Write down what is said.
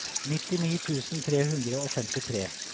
nittini tusen tre hundre og femtitre